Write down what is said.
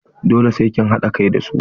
Dole sai kin haɗa kai da su!